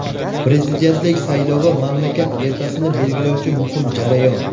Prezidentlik saylovi – mamlakat ertasini belgilovchi muhim jarayon.